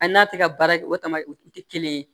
A n'a tɛ ka baara kɛ o tama o tɛ kelen ye